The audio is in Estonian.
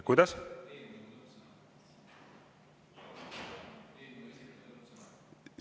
Kuidas?